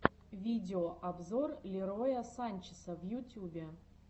видеообзор лероя санчеса в ютубе